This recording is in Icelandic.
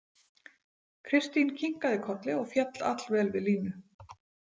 Kristín kinkaði kolli og féll allvel við Línu.